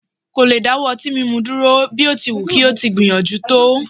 kò lè dáwọ́ ọtí mímu dúró, bí ó ti wù kí ó ti gbìyànjú tó